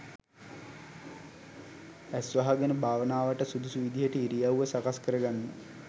ඇස් වහගෙන භාවනාවට සුදුසු විදිහට ඉරියව්ව සකස් කරගන්න